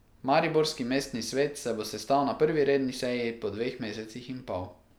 Mariborski mestni svet se bo sestal na prvi redni seji po dveh mesecih in pol.